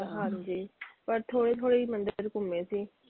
ਹਾਂਜੀ, ਪਰ ਥੋੜੇ ਥੋੜੇ ਹੀ ਮੰਦਿਰ ਘੁੰਮੇ ਸੀ।